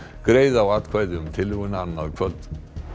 greiða á atkvæði um tillöguna annað kvöld